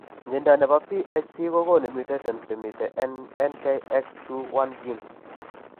Mnyondo nebo BHC kogonu mutations chemiten en NKX2 1 gene